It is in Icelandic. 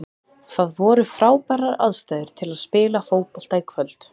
Það voru frábærar aðstæður til að spila fótbolta í kvöld.